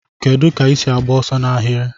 Kedu ka isi agba ọsọ na ahiri?